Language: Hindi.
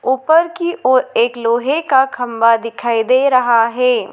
ऊपर की ओर एक लोहे का खंबा दिखाई दे रहा है।